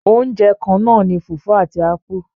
Oúnjẹ kannáà ní fùfú àti ápú.